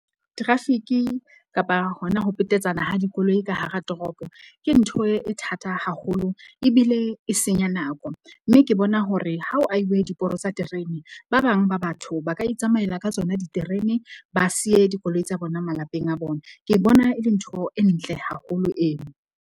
Traffic-i kapa hona ho petetsana ha dikoloi ka hara toropo, ke ntho e thata haholo ebile e senya nako. Mme ke bona hore ha o ahilwe diporo tsa terene, ba bang ba batho ba ka itsamaela ka tsona diterene, ba siye dikoloi tsa bona malapeng a bona. Ke bona e le ntho e ntle haholo eo.